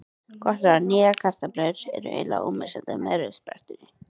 Gott ráð: Nýjar kartöflur eru eiginlega ómissandi með rauðsprettunni.